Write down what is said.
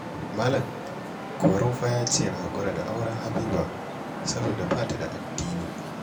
Malam Korau fa ya ce na haƙura da auren Habiba saboda ba ta da addini